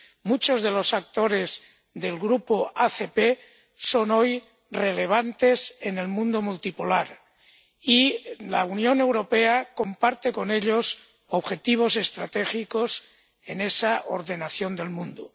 Muchos de los actores del grupo ACP son hoy relevantes en el mundo multipolar, y la Unión Europea comparte con ellos objetivos estratégicos en esa ordenación del mundo.